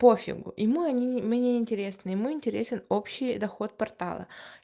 по фигу ему они мы неинтересны ему интересен общий доход портала